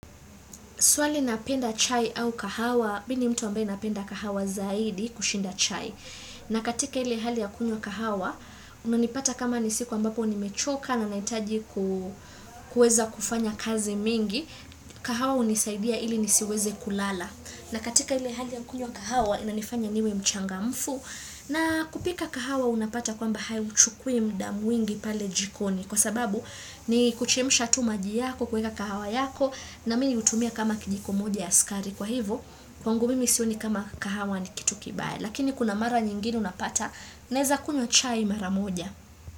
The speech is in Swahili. Swali napenda chai au kahawa, mi ni mtu ambaye napenda kahawa zaidi kushinda chai. Na katika ile hali ya kunywa kahawa, unanipata kama ni siku ambapo nimechoka na nahitaji kueza kufanya kazi mingi, kahawa hunisaidia ili nisiweze kulala. Na katika ile hali ya kunywa kahawa, inanifanya niwe mchangamfu. Na kupika kahawa unapata kwamba hauchukui muda mwingi pale jikoni kwa sababu ni kuchemsha tu maji yako kuweka kahawa yako na mimi hutumia kama kijiko moja ya sukari kwa hivo kwangu mimi sioni kama kahawa ni kitu kibaya lakini kuna mara nyingine unapata naeza kunywa chai mara moja.